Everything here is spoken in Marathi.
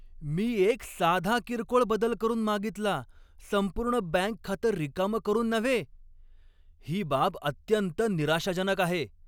मी एक साधा किरकोळ बदल करून मागितला, संपूर्ण बँक खातं रिकामं करून नव्हे! ही बाब अत्यंत निराशाजनक आहे.